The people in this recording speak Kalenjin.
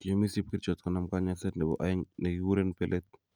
Kiyomis chepkerichot konam konyoiset nebo aeng nekiguren belet